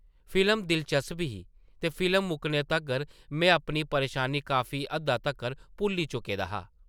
Film दिलचस्प ही ते फिल्म मुक्कने तगर में अपनी परेशानी काफी हद्दा तक्कर भुल्ली चुके दा हा ।